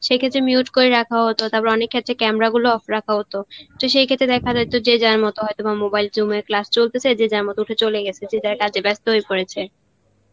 সে ক্ষেত্রে mute করে রাখা হত, তারপর অনেক ক্ষেত্রে camera গুলো off রাখা হত, তো সেই ক্ষেত্রে দেখা জয়িত যে যার মত হয়েত বা mobile টবায়িল class চলতেসে, যে যার মত উঠে চলে গেছে, যে যার কাজ এ বেস্ত হয়ে পরেছে